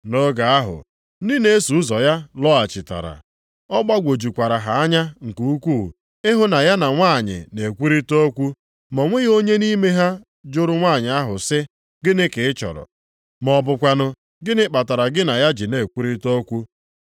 Nʼoge ahụ ndị na-eso ụzọ ya lọghachitara. Ọ gbagwojukwara ha anya nke ukwuu ịhụ na ya na nwanyị na-ekwurịta okwu. Ma o nweghị onye nʼime ha jụrụ nwanyị ahụ sị, “Gịnị ka ị chọrọ?” ma ọ bụkwanụ, “Gịnị kpatara gị na ya ji na-ekwurịta okwu?”